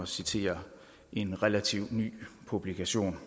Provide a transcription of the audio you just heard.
citere en relativt ny publikation